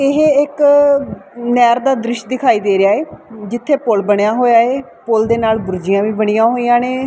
ਇਹ ਇੱਕ ਨਹਿਰ ਦਾ ਦ੍ਰਿਸ਼ ਦਿਖਾਈ ਦੇ ਰਿਹਾ ਏ ਜਿੱਥੇ ਪੁਲ ਬਣਿਆ ਹੋਇਆ ਏ ਪੁੱਲ ਦੇ ਨਾਲ ਬਰਿੱਜਾਂ ਵੀ ਬਣੀਆਂ ਹੋਈਆਂ ਨੇ।